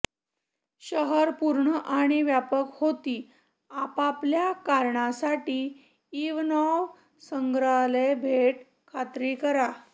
शहर पूर्ण आणि व्यापक होती आपापल्या करण्यासाठी इवनॉव संग्रहालये भेट खात्री करा